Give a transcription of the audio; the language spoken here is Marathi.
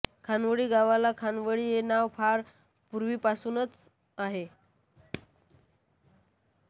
खानवडी गावाला खानवडी हे नाव फार पूर्वीपासूनच आहे